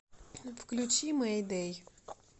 включи мэйдэй